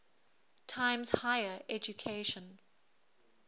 times higher education